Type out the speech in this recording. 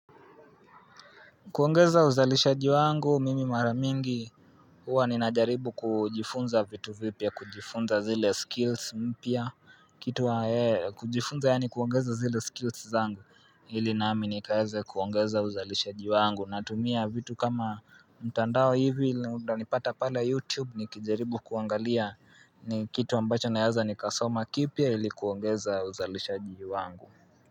Kuongeza uzalishaji wangu mimi mara mingi huwa ninajaribu kujifunza vitu vipya kujifunza zile skills mpya kitu kujifunza yani kuongeza zile skills zangu ili nami nikaeze kuongeza uzalishaji wangu natumia vitu kama mtandao hivi na utanipata pale youtube nikijaribu kuangalia ni kitu ambacho naeza nikasoma kipya ili kuongeza uzalishaji wangu.